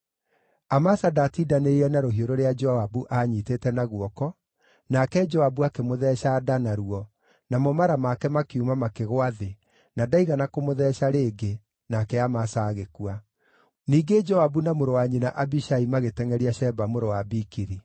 Amasa ndaatindanĩrĩire na rũhiũ rũrĩa Joabu aanyiitĩte na guoko, nake Joabu akĩmũtheeca nda naruo, namo mara make makiuma makĩgũa thĩ, na ndaigana kũmũtheeca rĩngĩ, nake Amasa agĩkua. Ningĩ Joabu na mũrũ wa nyina Abishai magĩtengʼeria Sheba mũrũ wa Bikiri.